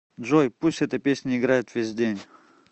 джой пусть эта песня играет весь день